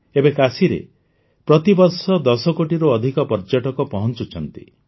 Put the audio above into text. ଏବେ କାଶୀରେ ପ୍ରତି ବର୍ଷ ୧୦ କୋଟିରୁ ଅଧିକ ପର୍ଯ୍ୟଟକ ପହଞ୍ଚୁଛନ୍ତି